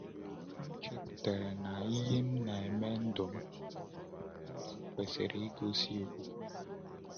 M chepụtara na ihe m na-eme n’ndụ m n’ndụ m kwesịrị igosi okwukwe m.